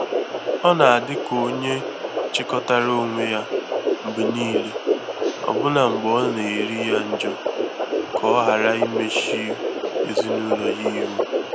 Ọ́ nà-adị ka onye chikọtara onwe ya mgbè níílé, ọ́bụ́nà mgbè ọ́ nà-érí yá njọ́, kà ọ́ ghàrà íméchù èzínụ́lọ́ yá íhú.